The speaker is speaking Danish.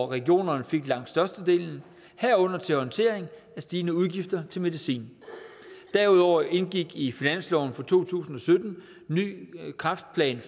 regionerne fik langt størstedelen herunder til orientering til stigende udgifter til medicin derudover indgik i finansloven for to tusind og sytten en kræftplan